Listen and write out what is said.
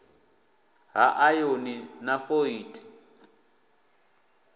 ha ayoni na fo ieti